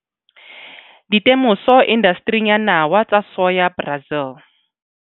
Ditemoso indastering ya nawa tsa soya Brazil.